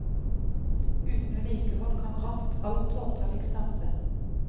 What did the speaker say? Uten vedlikehold kan raskt all togtrafikk stanse.